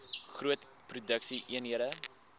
groot produksie eenhede